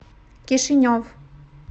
кишинев